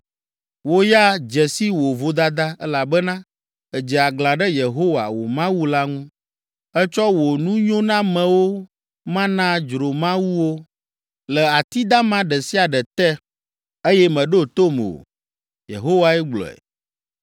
‘Wò ya, dze si wò vodada elabena èdze aglã ɖe Yehowa, wò Mawu la ŋu; ètsɔ wò nunyonamewo ma na dzromawuwo le ati dama ɖe sia ɖe te eye mèɖo tom o.’ ” Yehowae gblɔe.